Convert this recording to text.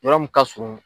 Yɔrɔ min ka surun